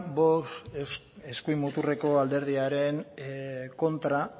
vox eskuin muturreko alderdiaren kontra